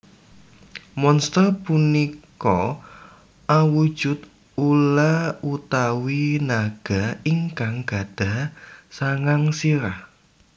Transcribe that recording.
Monster punika awujud ula utawi naga ingkang gadhah sangang sirah